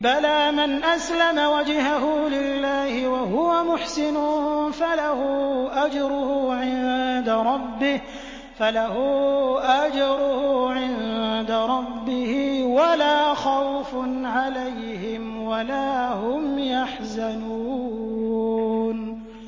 بَلَىٰ مَنْ أَسْلَمَ وَجْهَهُ لِلَّهِ وَهُوَ مُحْسِنٌ فَلَهُ أَجْرُهُ عِندَ رَبِّهِ وَلَا خَوْفٌ عَلَيْهِمْ وَلَا هُمْ يَحْزَنُونَ